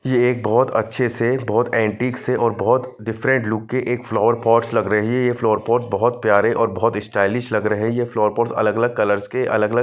ये एक बहुत अच्छे से बहुत एंटीक से और बहुत डिफरेंट लुक के एक फ्लावर पॉट्स लग रहे है ये फ्लावर पॉट बहुत प्यारे और बहुत स्टाइलिश लग रहे हैं ये फ्लावर पॉट्स अलग अलग कलर्स के अलग अलग--